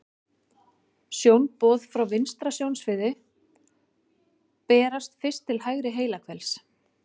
Sjónboð frá vinstra sjónsviði berast fyrst til hægra heilahvels.